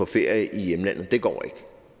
ferie i hjemlandet det går ikke